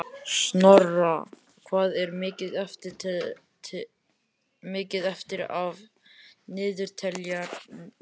Snorra, hvað er mikið eftir af niðurteljaranum?